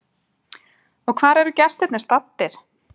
Og hvar eru gestirnir staddir?